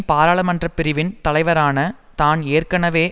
பாராளுமன்ற பிரிவின் தலைவரான தான் ஏற்கனவே